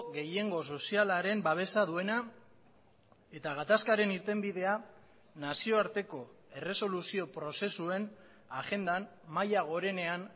gehiengo sozialaren babesa duena eta gatazkaren irtenbidea nazioarteko erresoluzio prozesuen agendan maila gorenean